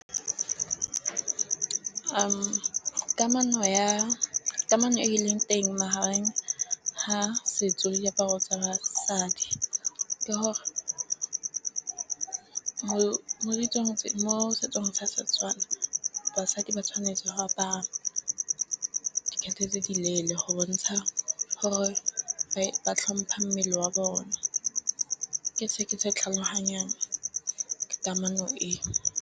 Kamano ya kamano e leng teng magareng ga setso le diaparo tsa basadi. Ke gore go mo ditsong tse mo setsong sa Setswana basadi ba tshwanetse go apara tse di leele go bontsha gore ba tlhompha mmele wa bone ke se ke se tlhaloganyang ka kamano e.